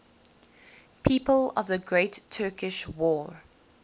people of the great turkish war